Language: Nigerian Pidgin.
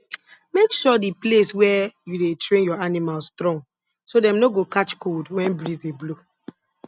make sure the place where you dey train your animals strong so dem no go catch cold when breeze dey blow